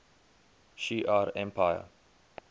shi ar empire